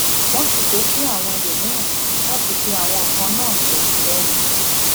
wọn sì ké sí àwọn ẹlòmíràn láti fi àwọn nǹkan náà ṣètìlẹyìn